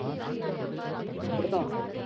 இப்படித்தான்